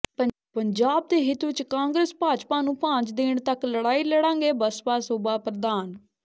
ਪੰਜਾਬ ਦੇ ਹਿਤ ਵਿਚ ਕਾਂਗਰਸ ਭਾਜਪਾ ਨੂੰ ਭਾਂਜ ਦੇਣ ਤੱਕ ਲੜਾਈ ਲੜਾਂਗੇ ਬਸਪਾ ਸੂਬਾ ਪ੍ਰਧਾਨ